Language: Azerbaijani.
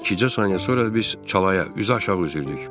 İkicə saniyə sonra biz çalaya üzüaşağı üzürdük.